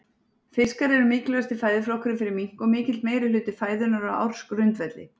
Fiskar eru mikilvægasti fæðuflokkurinn fyrir mink og mikill meirihluti fæðunnar á ársgrundvelli.